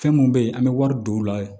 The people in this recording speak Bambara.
Fɛn mun be yen an be wari don u la